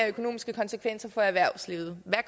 økonomiske konsekvenser for erhvervslivet hvad